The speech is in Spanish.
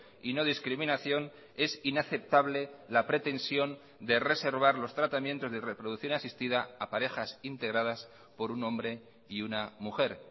y no discriminación es inaceptable la pretensión de reservar los tratamientos de reproducción asistida a parejas integradas por un hombre y una mujer